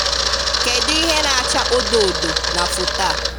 Kedụ ihe na-acha odo odo na foto a?